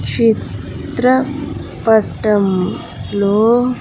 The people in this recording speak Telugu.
చిత్ర పటం లో.